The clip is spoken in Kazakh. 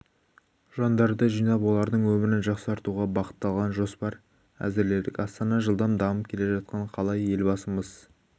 жандарды жинап олардың өмірін жақсартуға бағытталған жоспар әзірледік астана жылдам дамып келе жатқан қала елбасымыз